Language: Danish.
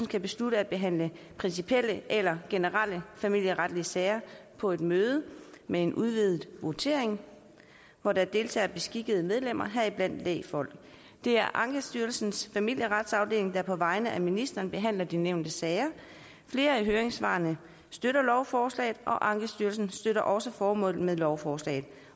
kan beslutte at behandle principielle eller generelle familieretlige sager på et møde med en udvidet votering hvor der deltager beskikkede medlemmer heriblandt lægfolk det er ankestyrelsens familieretsafdeling der på vegne af ministeren behandler de nævnte sager flere af høringssvarene støtter lovforslaget og ankestyrelsen støtter også formålet med lovforslaget